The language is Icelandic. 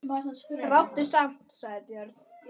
Ráddu samt, sagði Björn.